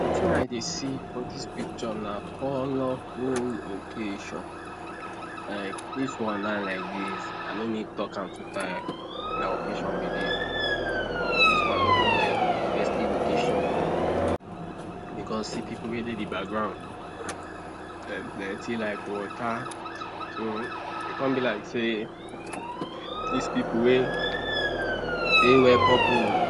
Wetin I Dey see for dis picture na colorful occasion like dis one now like dis I no need talk am two time na occasion we Dey buy dis one look more like festive occasion oo because see pipu wey Dey de background dem plenty like water so e come be like sey dis pipu wey wear purple